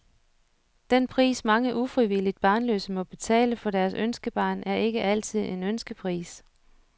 Den pris, mange ufrivilligt barnløse må betale for deres ønskebarn, er ikke altid en ønskepris.